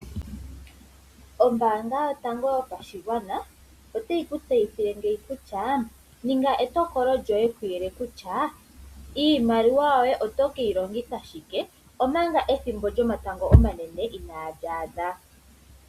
Ombaanga yotango yopashigwana otayi ku tseyithile ngeyi kutya ninga etokolo lyoye kuyele kutya iimaliwa yoye otokeyi longitha shike omanga ethimbo lyomatango omanene inaali adha.